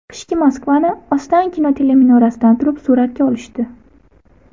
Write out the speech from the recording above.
Qishki Moskvani Ostankino teleminorasidan turib suratga olishdi.